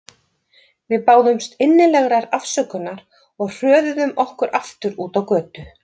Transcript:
Við báðumst innilegrar afsökunar og hröðuðum okkur aftur út á götu.